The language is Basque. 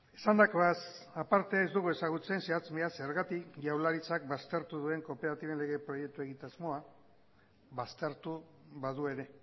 esandakoaz aparte ez dugu ezagutzen zehatz mehatz zergatik jaurlaritzak baztertu duen kooperatiben lege proiektu egitasmoa baztertu badu ere